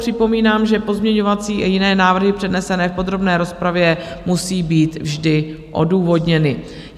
Připomínám, že pozměňovací i jiné návrhy přednesené v podrobné rozpravě musí být vždy odůvodněny.